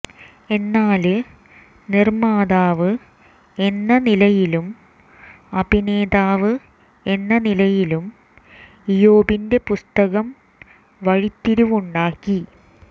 എന്നാല് നിര്മാതാവ് എന്ന നിലയിലും അഭിനേതാവ് എന്ന നിലയിലും ഇയോബിന്റെ പുസ്തകം വഴിത്തിരിവുണ്ടാക്കി